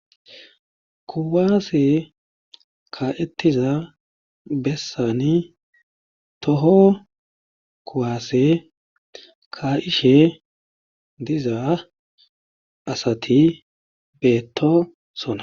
Kuwase kaa'etiza bessani toho kuwase kaa'ishe diza asati beetosona.